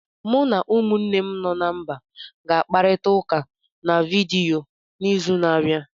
Mụ na umunnem no na mba ga-akparịta ụka na vidiyo n'izu na-abịa.